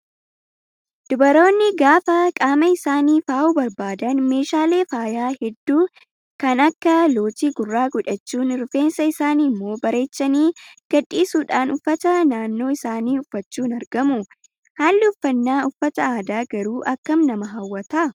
Dubaroonni gaafa qaama isaanii faayuu barbaadan meeshaalee faayaa hedduu kana Akka lootii gurraa godhachuudhaan rifeensa isaanii immoo bareechanii gadhiisuudhaan uffata aadaa naannoo isaanii uffachuun argamu. Haalli uffannaa uffata aadaa garuu akkam nama hawwataa